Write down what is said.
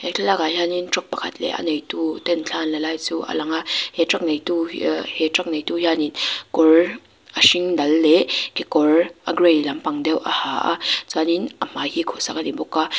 he thlalakah hianin truck pakhat leh a neituten thla an la lai chu a lang a he truck neitu aa he truck neitu hianin kawr a hring dal leh kekawr a gray lampang deuh a ha a chuanin a hmai hi khuhsak a ni bawk a.